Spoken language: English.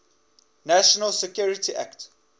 national security act